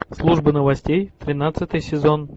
служба новостей тринадцатый сезон